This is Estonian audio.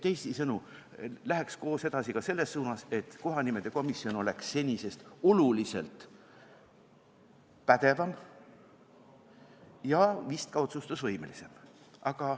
Teisisõnu, läheks koos edasi selles suunas, et kohanimede komisjon oleks senisest oluliselt pädevam ja vist ka otsustusvõimelisem.